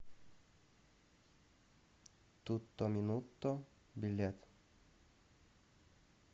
тутто минутто билет